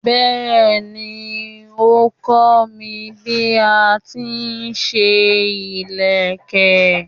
Bẹ́ẹ̀ni, ó kọ́ mi bí a ti ń ṣe ìlẹ̀kẹ̀.